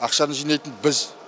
ақшаны жинайтын біз